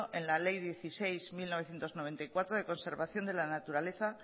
en la ley dieciséis barra mil novecientos noventa y cuatro de conservación de la naturaleza